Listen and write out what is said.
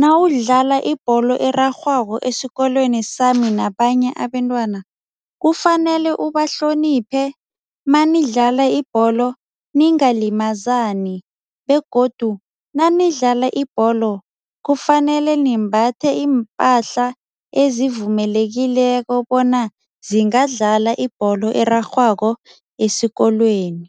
nawudlala ibholo erarhwako esikolweni sami nabanye abentwana, kufanele bahloniphe. Manidlala ibholo ningalimazani begodu nanidlala ibholo kufanele nimbathwa iimpahla ezivumelekileko bona zingadlala ibholo erarhwako esikolweni.